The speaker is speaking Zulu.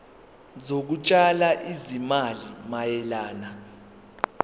zokutshala izimali mayelana